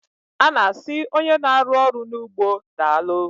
A na asị onye n'arụ ọrụ n'ugbo daalụ